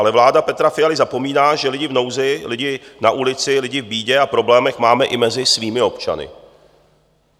Ale vláda Petra Fialy zapomíná, že lidi v nouzi, lidi na ulici, lidi v bídě a problémech máme i mezi svými občany.